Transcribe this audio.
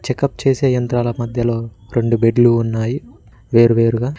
Checkup చేసే యంత్రాల మధ్యలో రెండు బెడ్లు ఉన్నాయి వేరువేరుగా.